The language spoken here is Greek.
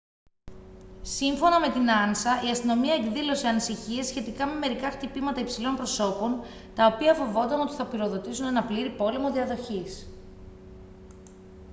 σύμφωνα με την ansa «η αστυνομία εκδήλωσε ανησυχίες σχετικά με μερικά χτυπήματα υψηλών προσώπων τα οποία φοβόταν ότι θα πυροδοτήσουν έναν πλήρη πόλεμο διαδοχής